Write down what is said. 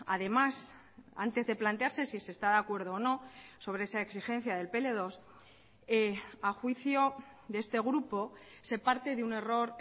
además antes de plantearse si se está de acuerdo o no sobre esa exigencia del pe ele dos a juicio de este grupo se parte de un error